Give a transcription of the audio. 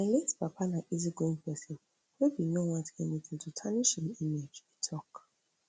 my late papa na easygoing pesin wey bin no want anything to tarnish im image e tok